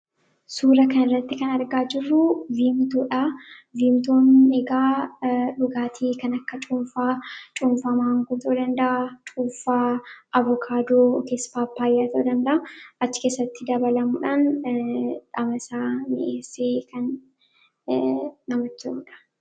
Suura kanarratti kan argaa jirru Veentoodha. Veentoon egaa dhugaatii kan akka cuunfaa, cuunfaa maangoo ta'uu danda'a; cuunfaa avokaadootis paappaayyaa ta'uu danda'a. Achi keessatti dabalamuudhaan dhamasaa midheessee kan namatti toludha.